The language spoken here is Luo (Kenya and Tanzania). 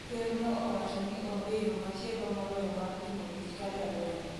ker no owacho ni onge yo machielomoloyo mar timo tich ka jalweny